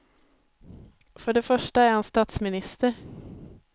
För det första är han statsminister.